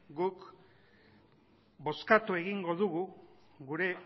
guk bozkatu egingo dugu gure